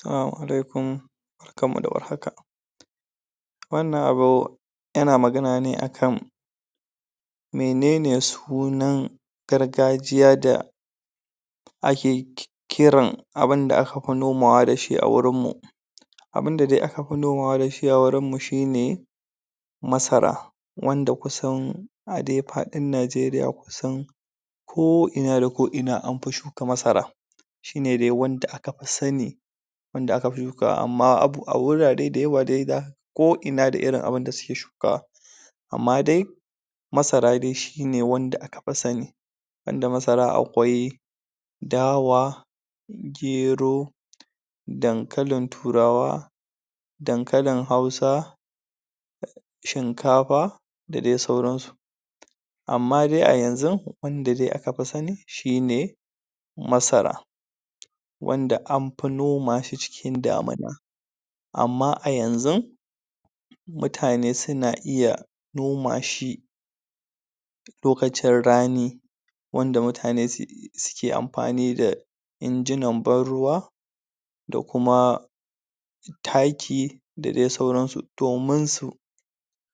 Salamu Alaikum Barkanmu da warhaka wannan abu yana magana ne a kan menene sunan gargajiya da ake um kiran abunda aka pi nomawa da shi a wurin mu abunda dai aka pi nomawa da shi a wurinmu shine masara wanda kusan a de paɗin Najeriya kusan ko ina da ko ina am pi shuka masara shine de wanda aka pi sani wanda aka fi shukawa amma um a wurare dayawa de ga ko ina da irin abunda suke shukawa amma dai masara de shina wanda aka pi sani banda masara akwai dawa gero dankalin turawa dankalin hausa shinkapa da de sauran su amma de a yanzun wanda de aka pi sani shine masara wanda am pi noma shi cikin damuna amma a yanzun mutane suna iya noma shi lokacin rani wanda mutane um suke ampani da injinan ban ruwa da kuma taki da de sauransu domin su